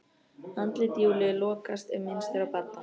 Andlit Júlíu lokast ef minnst er á Badda.